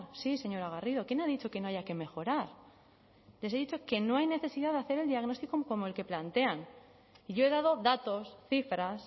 sí señora garrido quién ha dicho que no haya que mejorar les he dicho que no hay necesidad de hacer el diagnóstico como el que plantean y yo he dado datos cifras